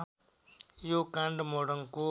यो काण्ड मोरङको